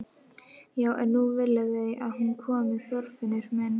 Já en nú vilja þau að hún komi, Þorfinnur minn.